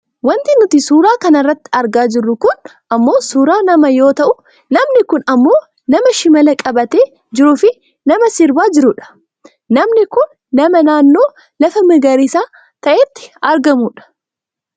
Wanti nuti suuraa kanarratti argaa jirru kun ammoo suuraa namaa yoo ta'u namni kun ammoo nama shimala qabatee jiruufi nama sirbaa jirudha. Namni kun nama naannoo lafa magariisa taatetti argamudha.